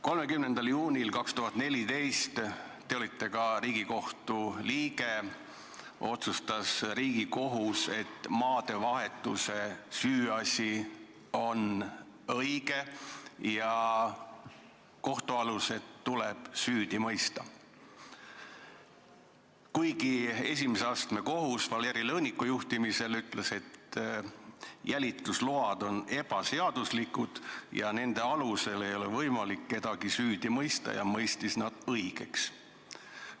30. juunil 2014 olite te ka Riigikohtu liige, kui Riigikohus otsustas, et maadevahetuse süüasi on õige ja kohtualused tuleb süüdi mõista, kuigi esimese astme kohus Valeri Lõõniku juhtimisel oli öelnud, et jälitusload olid ebaseaduslikud, nende alusel ei ole võimalik kedagi süüdi mõista, ja mõistis nad õigeks.